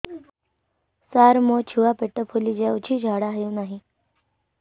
ସାର ମୋ ଛୁଆ ପେଟ ଫୁଲି ଯାଉଛି ଝାଡ଼ା ହେଉନାହିଁ